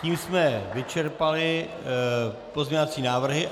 Tím jsme vyčerpali pozměňovací návrhy.